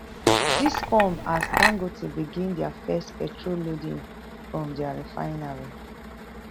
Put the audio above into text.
dis come as dangote begin dia first petrol loading from dia refinery